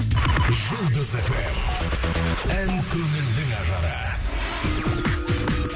жұлдыз эф эм ән көңілдің ажары